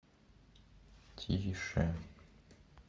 тише